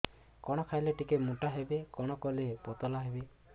କଣ ଖାଇଲେ ଟିକେ ମୁଟା ହେବି କଣ କଲେ ପତଳା ହେବି